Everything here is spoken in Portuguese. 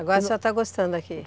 Agora a senhora está gostando daqui?